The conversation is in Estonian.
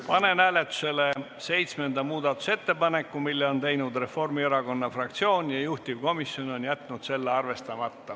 Panen hääletusele seitsmenda muudatusettepaneku, mille on teinud Reformierakonna fraktsioon ja juhtivkomisjon on jätnud arvestamata.